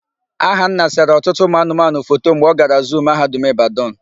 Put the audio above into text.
Ahanna sere ọtụtụ ụmụanụmanụ foto mgbe ọ gara zuu Mahadum Ịbadan.